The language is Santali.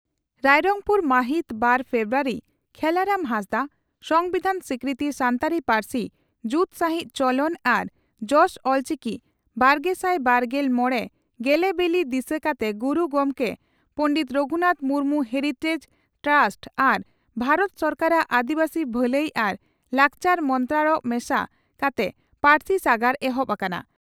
ᱨᱟᱭᱨᱚᱝᱯᱩᱨ ᱢᱟᱦᱤᱛ ᱵᱟᱨ ᱯᱷᱮᱵᱨᱩᱣᱟᱨᱤ (ᱠᱷᱮᱞᱟᱨᱟᱢ ᱦᱟᱸᱥᱫᱟᱜ) ᱺ ᱥᱚᱢᱵᱤᱫᱷᱟᱱ ᱥᱤᱠᱨᱤᱛᱤ ᱥᱟᱱᱛᱟᱲᱤ ᱯᱟᱹᱨᱥᱤ ᱡᱩᱛ ᱥᱟᱺᱦᱤᱡ ᱪᱚᱞᱚᱱ ᱟᱨ ᱡᱚᱥ ᱚᱞᱪᱤᱠᱤᱼᱵᱟᱨᱜᱮᱥᱟᱭ ᱵᱟᱨᱜᱮᱞ ᱢᱚᱲᱮ ᱜᱮᱞᱮᱵᱤᱞᱤ ᱫᱤᱥᱟᱹ ᱠᱟᱛᱮ ᱜᱩᱨᱩ ᱜᱚᱢᱠᱮ ᱯᱚᱸᱰᱮᱛ ᱨᱟᱹᱜᱷᱩᱱᱟᱛᱷ ᱢᱩᱨᱢᱩ ᱦᱮᱨᱤᱴᱮᱡ ᱴᱨᱟᱥᱴ ᱟᱨ ᱵᱷᱟᱨᱚᱛ ᱥᱚᱨᱠᱟᱨᱟᱜ ᱟᱹᱫᱤᱵᱟᱹᱥᱤ ᱵᱷᱟᱹᱞᱟᱹᱭ ᱟᱨ ᱞᱟᱠᱪᱟᱨ ᱢᱚᱱᱛᱨᱟᱲᱚᱭᱚ ᱢᱮᱥᱟ ᱠᱟᱛᱮ 'ᱯᱟᱹᱨᱥᱤ ᱥᱟᱜᱟᱲ' ᱮᱦᱚᱵ ᱟᱠᱟᱱᱟ ᱾